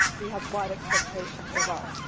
He has high expectations of us.